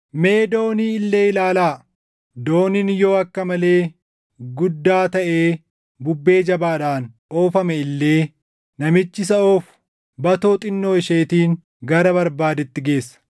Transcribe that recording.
Mee doonii illee ilaalaa! Dooniin yoo akka malee guddaa taʼee bubbee jabaadhaan oofame illee namichi isa oofu batoo xinnoo isheetiin gara barbaadetti geessa.